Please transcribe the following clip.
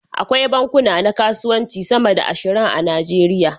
Akwai bankuna na kasuwanci sama da ashirin a Najeriya.